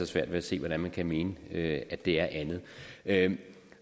svært ved at se hvordan man kan mene at det er andet andet